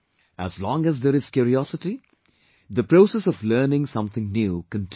As long as there is curiosity, the process of learning something new continues